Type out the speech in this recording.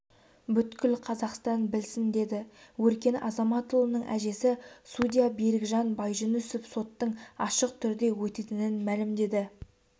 бүкіл қазақстан білсін деді өркен азаматұлының әжесі судья берікжан байжүнісов соттың ашық түрде өтетінін мәлімдеді